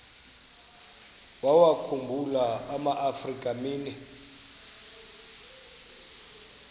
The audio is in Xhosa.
wawakhumbul amaafrika mini